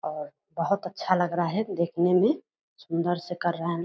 अअ बहोत अच्छा लग रहा है देखने में सुंदर से कर रहे हैं लो --